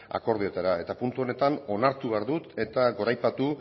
akordioetara eta puntu honetan onartu behar dut eta goraipatu